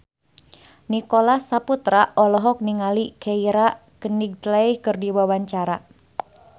Nicholas Saputra olohok ningali Keira Knightley keur diwawancara